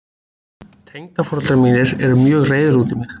Tengdaforeldrar mínir eru mjög reiðir út í mig.